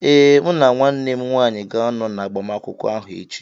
Ee, mụ na nwanne m nwanyị ga-ánọ na agbamakwụkwọ áhù echi